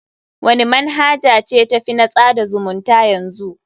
Wani manhaja ce ta fi na tsada zumunta yanzy?